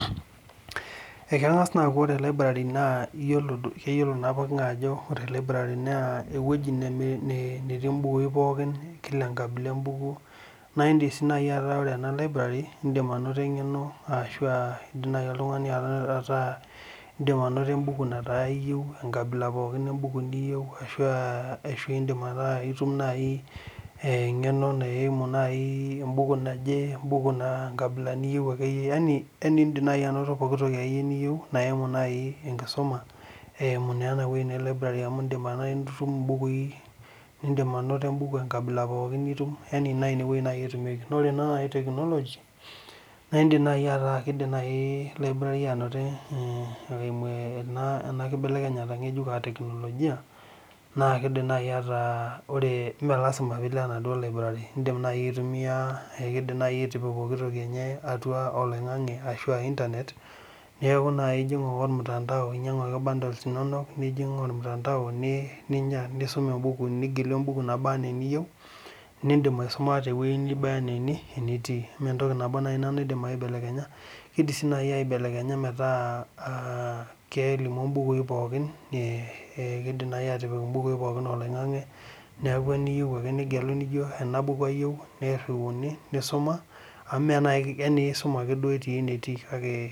Ekangas aaku ore Library na ewueji natii mbukui pooki kila enkabila embuku naindim ainotie engeno arashu indim ataa ainoto embuku enkabila embuku niyieu ashu aa iyieu nai engeno naimu embuku naje yani indik ainoto pooki toki niyieu naimi enkisuma eimu enewueji naji Libra na inewueji nai etumieki ore nai technology anoto enakibelekenya ngejuk eimu technologia melasima nai pilo enaduo laibrari indim nai aitumia atua oloingangi neaku inyangu ake bundles inono nijing ormutandao nigelu embuku niyieu nindim aisum tewoi naba ana enitii neaku entoki nabo nai naidom aibelekenya keeidim atipik mbukui pooki oloingangi neaku indik atejo enabuku ayieu niriuni nisuma amu isum ake duo enetii